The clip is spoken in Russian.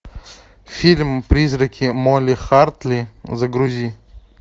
фильм призраки молли хартли загрузи